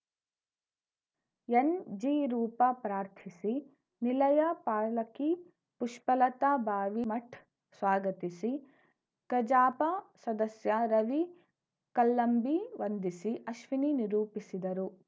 ಎನ್‌ಜಿರೂಪ ಪ್ರಾರ್ಥಿಸಿ ನಿಲಯ ಪಾಲಕಿ ಪುಷ್ಪಲತಾ ಬಾವಿ ಮಠ್‌ ಸ್ವಾಗತಿಸಿ ಕಜಾಪ ಸದಸ್ಯ ರವಿ ಕಲ್ಲಂಬಿ ವಂದಿಸಿ ಅಶ್ವಿನಿ ನಿರೂಪಿಸಿದರು